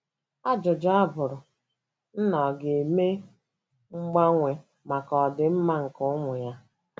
Ajụjụ abụrụ, Nna ọ̀ ga - eme mgbanwe maka ọdịmma nke ụmụ ya?